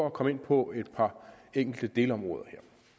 at komme ind på et par enkelte delområder